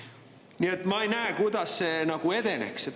Nii et ma ei näe, kuidas see nagu edeneks.